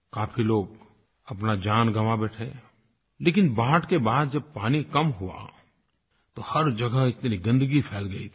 काफ़ी लोग अपनी जान गंवा बैठे लेकिन बाढ़ के बाद जब पानी कम हुआ तो हर जगह इतनी गन्दगी फ़ैल गई थी